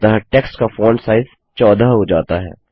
अतः टेक्स्ट का font size 14 हो जाता है